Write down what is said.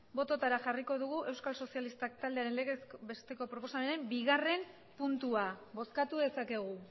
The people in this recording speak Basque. bototara jarriko dugu euskal sozialistak taldearen legez besteko proposamenaren bigarren puntua bozkatu dezakegu